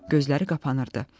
Gözləri qapanırdı.